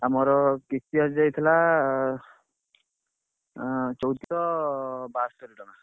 ଆଉ ମୋର କିସ୍ତି ଆସିଯାଇଥିଲା ଏଁ ଚଉଦସହ ବାସ୍ତରି ଟଙ୍କା।